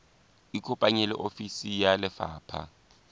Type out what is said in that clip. ikopanye le ofisi ya lefapha